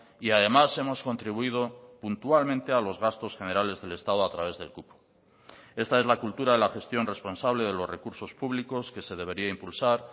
y además hemos contribuido puntualmente a los gastos generales del estado a través del cupo esta es la cultura de la gestión responsable de los recursos públicos que se debería impulsar